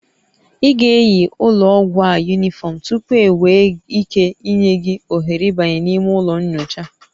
Ị ga-eyi ụlọ ọgwụ a unifrom tupu enwee ike ịnye gị ohere ịbanye n'ime ụlọ nyocha